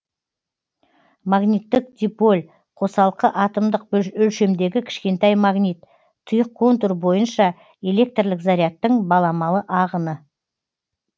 магниттік диполь қосалқы атомдық өлшемдегі кішкентай магнит тұйық контур бойынша электрлік зарядтың баламалы ағыны